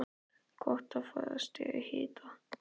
Gott að fá í sig hita.